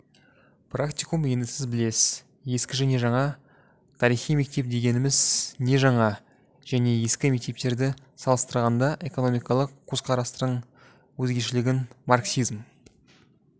практикум енді сіз білесіз ескіжәне жаңа тарихи мектеп дегеніміз не жаңа және ескі мектептерді салыстырғанда экономикалық көзқарастарының өзгешелігін марксизм